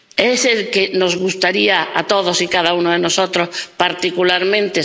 ¿Es el que nos gustaría a todos y cada uno de nosotros particularmente?